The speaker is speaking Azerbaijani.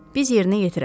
Biz yerinə yetirərik.